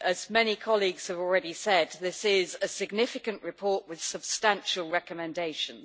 As many colleagues have already said, this is a significant report with substantial recommendations.